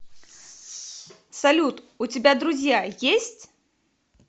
салют у тебя друзья есть